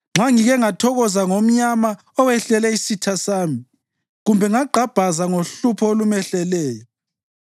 Nxa ngike ngathokoza ngomnyama owehlele isitha sami kumbe ngagqabhaza ngohlupho olumehleleyo,